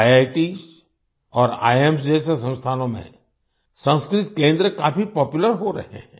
IITs और IIMs जैसे संस्थानों में संस्कृत केंद्र काफी पॉपुलर हो रहे हैं